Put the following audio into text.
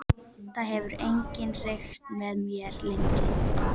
Það hefur enginn reykt með mér lengi.